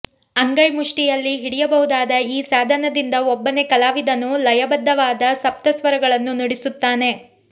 ಅಂಗೈ ಮುಷ್ಟಿಯಲ್ಲಿ ಹಿಡಿಯಬಹುದಾದ ಈ ಸಾಧನದಿಂದ ಒಬ್ಬನೇ ಕಲಾವಿದನು ಲಯಬದ್ಧವಾದ ಸಪ್ತಸ್ವರಗಳನ್ನು ನುಡಿಸುತ್ತಾನೆ